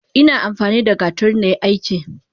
Ina amfanida gatari nai aiki.